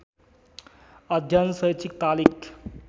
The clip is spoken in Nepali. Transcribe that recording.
अध्ययन शैक्षिक तालिक